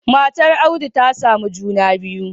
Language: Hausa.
Matar audu ta samu juna biyu